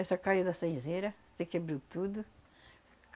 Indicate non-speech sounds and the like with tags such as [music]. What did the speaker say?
Essa caiu da, [unintelligible] se quebrou tudo.